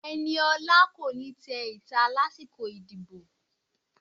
Eniola ko ni té ita lasikọ ìdíbò